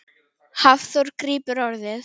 Hafþór grípur orðið.